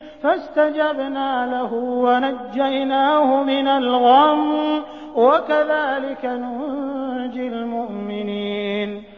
فَاسْتَجَبْنَا لَهُ وَنَجَّيْنَاهُ مِنَ الْغَمِّ ۚ وَكَذَٰلِكَ نُنجِي الْمُؤْمِنِينَ